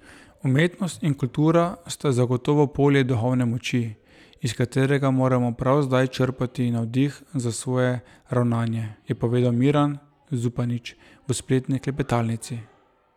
Umetnost in kultura sta zagotovo polje duhovne moči, iz katerega moramo prav zdaj črpati navdih za svoje ravnanje, je povedal Miran Zupanič v spletni klepetalnici.